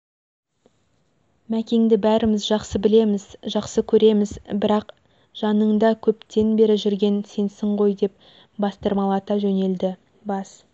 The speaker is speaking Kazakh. мәкеңді бәріміз жақсы білеміз жақсы көреміз бірақ жаныңда көптен бері жүрген сенсің ғой-деп бастырмалата жөнелді бас